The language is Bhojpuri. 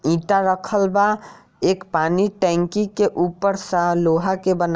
ईंटा रखल बा एक पानी टंकी के ऊपर सा लोहा के बन --